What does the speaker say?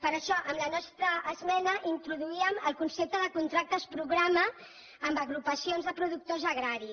per això amb la nostra esmena introduíem el concepte de contractes programa amb agrupacions de productors agraris